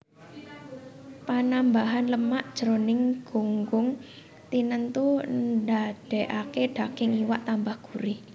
Panambahan lemak jroning gunggung tinentu ndadèkaké daging iwak tambah gurih